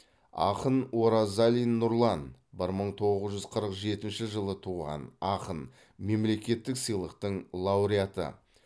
ақын оразалин нұрлан бір мың тоғыз жүз қырық жетінші жылы туған ақын мемлекеттік сыйлықтың лауреаты